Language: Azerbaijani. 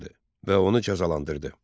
və onu cəzalandırdı.